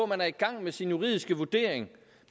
man er i gang med sin juridiske vurdering